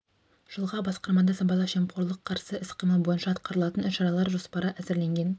жылға басқармада сыбайлас жемқорлық қарсы іс-қимыл бойынша атқарылатын іс-шаралар жоспары әзірленген